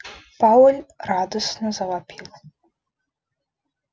пауэлл радостно завопил